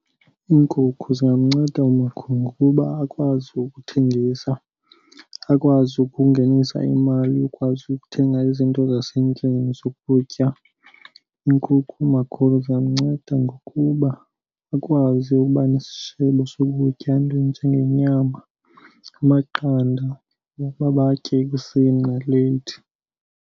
Iinkukhu zingamnceda umakhulu ngokuba akwazi ukuthengisa, akwazi ukungenisa imali yokwazi ukuthenga izinto zasendlini zokutya. Iinkukhu umakhulu zingamnceda ngokuba akwazi ukuba nesishebo sokutya, iinto ezinjengenyama, amaqanda wokuba batye ekuseni naleyithi.